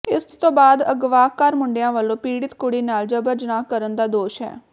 ਇਸ ਤੋਂ ਬਾਅਦ ਅਗਵਾਕਾਰ ਮੁੰਡਿਆਂ ਵਲੋਂ ਪੀੜਤ ਕੁੜੀ ਨਾਲ ਜ਼ਬਰ ਜਿਨਾਹ ਕਰਨ ਦਾ ਦੋਸ਼ ਹੈ